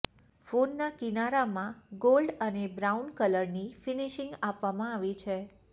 ફોનના કિનારામાં ગોલ્ડ અને બ્રાઉન કલરની ફિનિશિંગ આપવામાં આવી છે